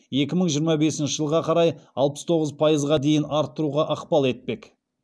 екі мың жиырма бесінші жылға қарай алпыс тоғыз пайызға дейін арттыруға ықпал етпек